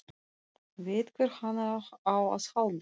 Veit hvert hann á að halda.